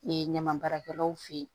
Ee ɲamabaarakɛlaw fe yen